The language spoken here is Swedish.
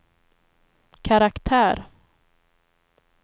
karaktär